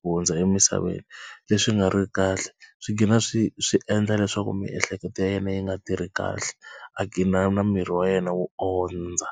ku hundza emisaveni leswi nga riki kahle swi gina swi swi endla leswaku miehleketo ya yena yi nga tirhi kahle a gina na miri wa yena wo ondza.